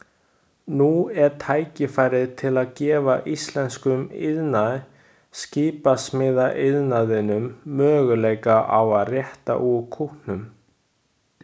Nú er tækifæri til að gefa íslenskum iðnaði, skipasmíðaiðnaðinum, möguleika á að rétta úr kútnum.